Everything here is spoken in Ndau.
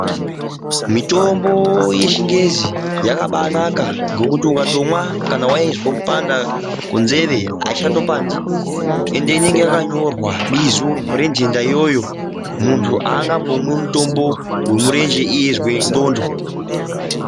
Mitombo yechingezi yakabanaka nekuti kana waizwe kupanda kwenzee aichatopandi ende inenge yakanyorwa bizo rentenda iyoyo munhtu aangambomwi mutombo wemurenje iye eizwe nzxonjo.